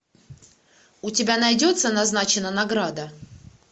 у тебя найдется назначена награда